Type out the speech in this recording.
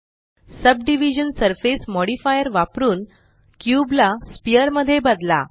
subdivision surface modifier वापरुन cube ला sphere मध्ये बदला